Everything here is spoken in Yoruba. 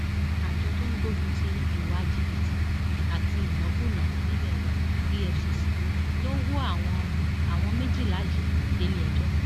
àjọ tó ń gbógun ti ìwà jìbìtì àti ìnákúnàá nílé wa efcc ló wọ àwọn àwọn méjìlá yìí déléẹjọ